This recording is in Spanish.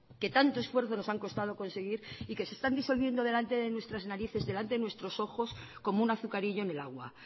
que tanto esfuerzo nos han constado conseguir y que se están disolviendo delante de nuestras narices delante de nuestros ojos como un azucarillo en el agua